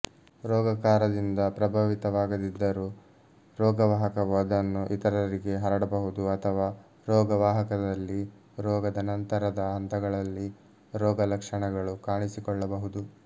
ರೋಗಕಾರದಿಂದ ಪ್ರಭಾವಿತವಾಗದಿದ್ದರೂ ರೋಗವಾಹಕವು ಅದನ್ನು ಇತರರಿಗೆ ಹರಡಬಹುದು ಅಥವಾ ರೋಗವಾಹಕದಲ್ಲಿ ರೋಗದ ನಂತರದ ಹಂತಗಳಲ್ಲಿ ರೋಗಲಕ್ಷಣಗಳು ಕಾಣಿಸಿಕೊಳ್ಳಬಹುದು